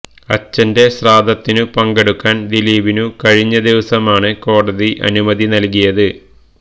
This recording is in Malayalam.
അച്ഛന്റെ ശ്രാദ്ധത്തിനു പങ്കെടുക്കാൻ ദിലീപിനു കഴിഞ്ഞ ദിവസമാണ് കോടതി അനുമതി നൽകിയത്